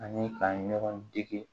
Ani ka ɲɔgɔn dege